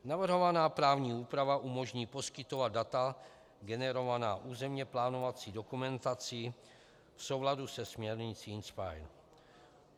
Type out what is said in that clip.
Navrhovaná právní úprava umožní poskytovat data generovaná územně plánovací dokumentací v souladu se směrnicí INSPIRE.